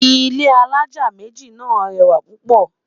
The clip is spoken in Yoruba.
ilé alájá méjì nà rẹwa púpò